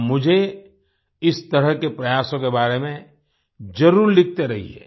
आप मुझे इस तरह के प्रयासों के बारे में जरुर लिखते रहिए